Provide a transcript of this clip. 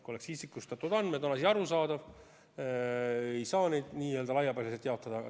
Kui oleks isikustatud andmed, oleks asi arusaadav, et ei saa neid n-ö laiapõhjaliselt jaotada.